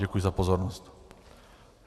Děkuji za pozornost.